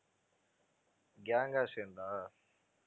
gang ஆ சேர்ந்தா